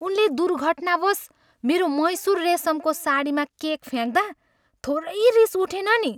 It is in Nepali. उनले दुर्घटनावश मेरो मैसुर रेसमको साडीमा केक फ्याँक्दा, थोरै रिस उठेन नि।